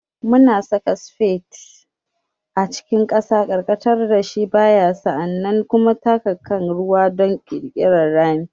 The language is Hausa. Muna saka spade a cikin ƙasa, karkatar da shi baya, sa'an nan kuma taka kan ruwa don ƙirƙirar rami.